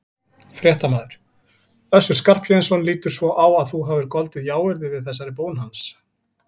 Fréttamaður: Össur Skarphéðinsson lítur svo á að þú hafir goldið jáyrði við þessari bón hans?